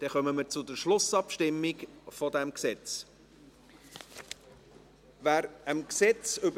Dann kommen wir zur Schlussabstimmung dieses Gesetzes.